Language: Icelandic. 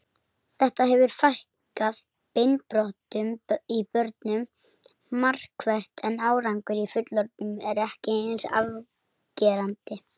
Þetta hefur fækkað beinbrotum í börnum markvert en árangur í fullorðnum er ekki eins afgerandi.